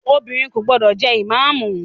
Obìnrin kò gbọdọ̀ jẹ ìmáàmù!